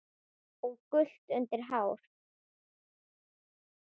og gult undir hár.